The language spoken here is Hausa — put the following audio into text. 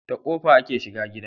Ta kofa ake shiga gida